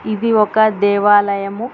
ఇది ఒక దేవయాలము.